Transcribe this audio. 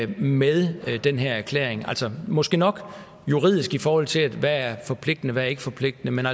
med den her erklæring måske nok juridisk i forhold til hvad der er forpligtende og ikkeforpligtende men